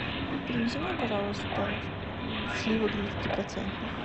привези мне пожалуйста сливок двадцатипроцентных